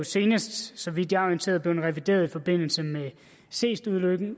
senest så vidt jeg er orienteret blevet revideret i forbindelse med seestulykken